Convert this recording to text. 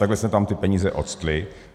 Takhle se tam ty peníze ocitly.